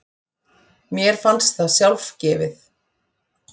Mér fannst það sjálfgefið.